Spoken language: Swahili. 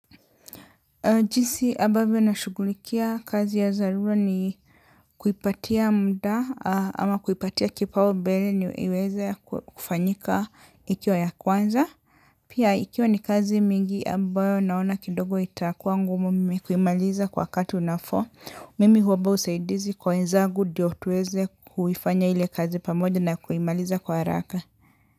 Jinsi ambavyo nashugulikia kazi ya dharura ni kuipatia mda ama kuipatia kipaumbele ni iweze kufanyika ikiwa ya kwanza. Pia ikiwa ni kazi mingi ambayo naona kidogo itakuwa ngumu mimi kuimaliza kwa wakati unafo. Mimi huomba usaidizi kwa wenzagu ndio tuweze kuifanya ile kazi pamoja na kuimaliza kwa haraka.